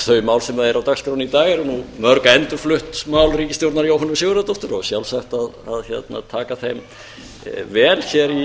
mál sem eru á dagskránni í dag eru mörg endurflutt mál ríkisstjórnar jóhönnu sigurðardóttur og sjálfsagt að taka þeim vel